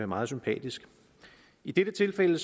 meget sympatisk i dette tilfælde